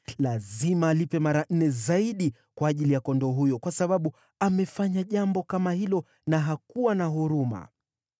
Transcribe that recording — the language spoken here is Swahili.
Lazima alipe mara nne zaidi, kwa ajili ya kondoo huyo, kwa sababu amefanya jambo kama hilo na hakuwa na huruma.”